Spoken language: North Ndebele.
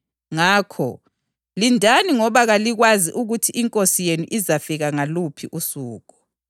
Ngakho, lindani ngoba kalikwazi ukuthi iNkosi yenu izafika ngaluphi usuku.